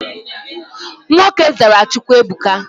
Nwoke zara Chukwuebuka.